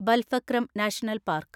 Balpakram national park